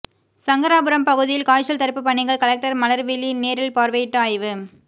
சங்கராபுரம் பகுதியில் காய்ச்சல் தடுப்பு பணிகள் கலெக்டர் மலர்விழி நேரில் பார்வையிட்டு ஆய்வு